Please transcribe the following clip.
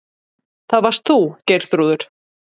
Það varst þú, Geirþrúður.